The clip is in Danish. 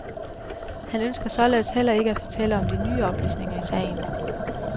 Han ønsker således heller ikke at fortælle om de nye oplysninger i sagen.